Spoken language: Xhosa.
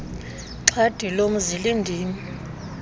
xhadi lomzi lindim